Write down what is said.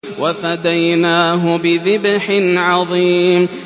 وَفَدَيْنَاهُ بِذِبْحٍ عَظِيمٍ